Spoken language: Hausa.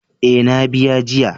Eh, na biya jiya.